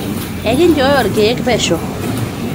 enkinchooyo ilkeek pesho